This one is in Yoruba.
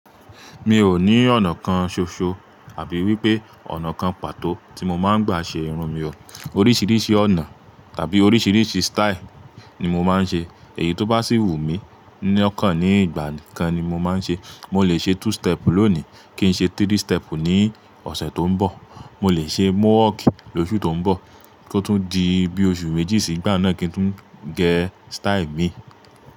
Mi ò ní ọ̀nà kan ṣoṣo àbí wípé ọ̀nà kan pàtó tí mo máa ń gbà ṣe irun mi o. Oríṣìíríṣìí ọ̀nà tàbí oríṣìíríṣìí style ni mo máa ń ṣe. Èyí tó bá sì wù mí ní ọ̀kan ní ìgbà kan ni mo máa ń ṣe. Mo lè ṣe two step lónì kí n ṣe three step ní ọ̀sẹ̀ tó ń bọ̀. Mo lè ṣe mọọk lóṣù tó ń bọ̀ kó tún di bí oṣù méjì sígbà náà kí n tún gẹ́ style mi.